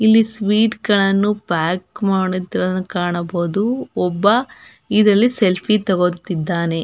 ಇಲ್ಲಿ ಸ್ವೀಟ್ ಗಳನ್ನು ಪ್ಯಾಕ್ ಮಾಡುತ್ತಿರುವುದು ಕಾಣಬಹುದು ಒಬ್ಬ ಇದರಲ್ಲಿ ಸೆಲ್ಫೀ ತೊಗೊತ್ತಿದ್ದಾನೆ.